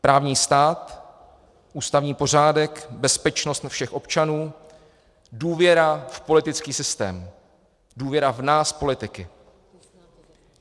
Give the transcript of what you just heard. Právní stát, ústavní pořádek, bezpečnost všech občanů, důvěra v politický systém, důvěra v nás, politiky.